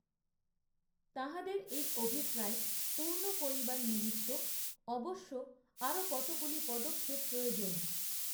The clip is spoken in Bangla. তাঁহাদের এই অভিপ্রায় পূর্ণ করিবার নিমিত্ত অবশ্য আরও কতগুলি পদক্ষেপ প্রয়োজন